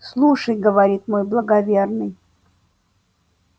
слушай говорит мой благоверный